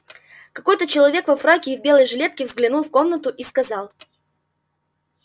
какой то человек во фраке и в белой жилетке взглянул в комнату и сказал